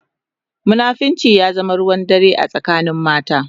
Munafunci ya zama ruwan dare a tsakanin mata.